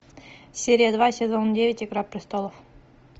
серия два сезон девять игра престолов